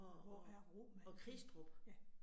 Og og pg Kristrup